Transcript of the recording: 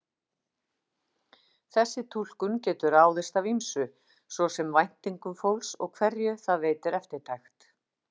Þessi túlkun getur ráðist af ýmsu, svo sem væntingum fólks og hverju það veitir eftirtekt.